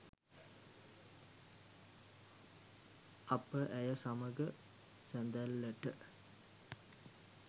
අප ඇය සමඟ සඳැල්ලට